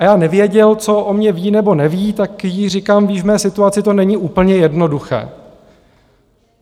A já nevěděl, co o mně ví nebo neví, tak jí říkám: Víš, v mé situaci to není úplně jednoduché.